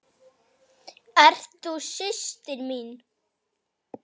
Ert þú systir mín?